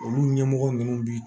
Olu ɲɛmɔgɔ ninnu bi